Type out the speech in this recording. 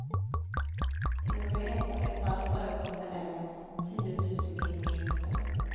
I några enstaka fall förekommer även tiotusenkronors vinster.